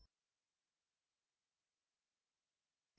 जब तक आप चाहो तब तक खेल ज़ारी रख सकते हैं